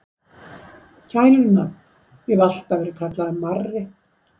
Gælunafn: Ég hef alltaf verið kallaður Marri.